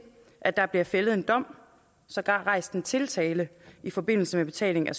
at der bliver fældet en dom sågar rejst en tiltale i forbindelse med betaling af